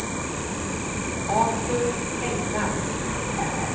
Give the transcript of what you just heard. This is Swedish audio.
Artur Engvall